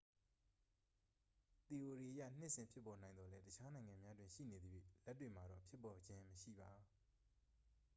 သီအိုရီအရ နှစ်စဉ်ဖြစ်ပေါ်နိုင်သော်လည်း တခြားနိုင်ငံများတွင် ရှိနေသရွေ့ လက်တွေ့မှာတော့ ဖြစ်ပေါ်ခြင်းမရှိပါ။